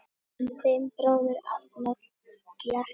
Þinn bróðir, Arnór Bjarki.